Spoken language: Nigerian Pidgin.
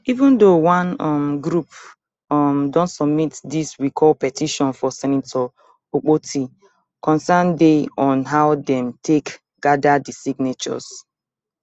even though one um group um don submit dis recall petition for senator akpoti concerns dey on how dem take gada di signatures